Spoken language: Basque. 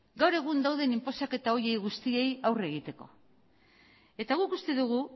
gaur egun dauden inposaketa horiei guztiei aurre egiteko eta guk uste dugu